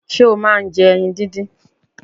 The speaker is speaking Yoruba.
Ṣé ọ máà ń jẹ ẹyin díndín?